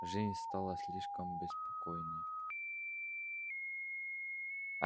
жизнь стала слишком беспокойной